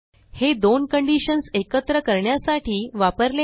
हे दोन कंडिशन्स एकत्र करण्यासाठी वापरले आहे